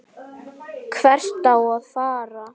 Hvert á að fara?